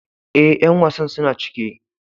Eh, yan wasan suna cike.